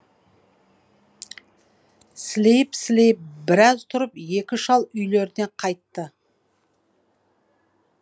сілейіп сілейіп біраз тұрып екі шал үйлеріне қайтты